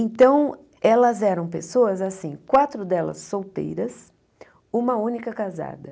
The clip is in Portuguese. Então, elas eram pessoas assim, quatro delas solteiras, uma única casada.